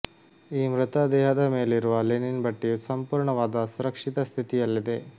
ಈ ಮೃತದೇಹದ ಮೇಲಿರುವ ಲಿನಿನ್ ಬಟ್ಟೆಯು ಸಂಪೂರ್ಣವಾದ ಸುರಕ್ಷಿತ ಸ್ಥಿತಿಯಲ್ಲಿದೆ